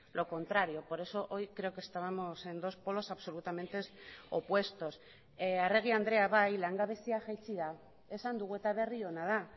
lo contrario por eso hoy creo que estábamos en dos polos absolutamente opuestos arregui andrea bai langabezia jaitsi da esan dugu eta berri ona da